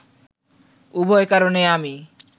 উভয় কারণেই আমি